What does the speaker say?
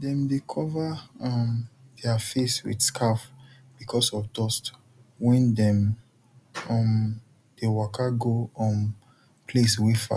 dem dey cover um der face with scarf because of dust when dem um dey waka go um place wey far